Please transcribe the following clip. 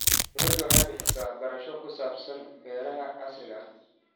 Dawladdu waxay bixisaa waxbarasho ku saabsan beeraha casriga ah.